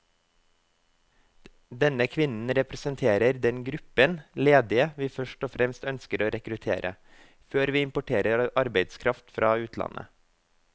Denne kvinnen representerer den gruppen ledige vi først og fremst ønsker å rekruttere, før vi importerer arbeidskraft fra utlandet.